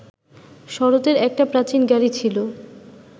শরতের একটা প্রাচীন গাড়ি ছিল